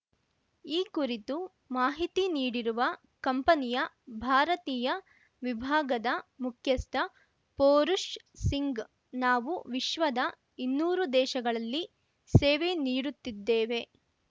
ಈ ಕುರಿತು ಮಾಹಿತಿ ನೀಡಿರುವ ಕಂಪನಿಯ ಭಾರತೀಯ ವಿಭಾಗದ ಮುಖ್ಯಸ್ಥ ಪೋರುಷ್‌ ಸಿಂಗ್‌ ನಾವು ವಿಶ್ವದ ಇನ್ನೂರು ದೇಶಗಳಲ್ಲಿ ಸೇವೆ ನೀಡುತ್ತಿದ್ದೇವೆ